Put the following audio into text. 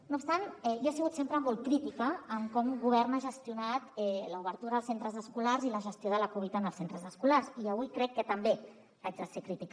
no obstant jo he sigut sempre molt crítica en com govern ha gestionat l’obertura dels centres escolars i la gestió de la covid en els centres escolars i avui crec que també haig de ser crítica